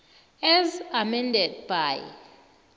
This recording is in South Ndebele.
as amended by